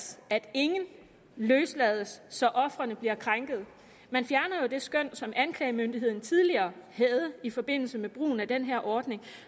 ingen løslades så ofrene bliver krænket man fjerner jo det skøn som anklagemyndigheden tidligere havde i forbindelse med brugen af den her ordning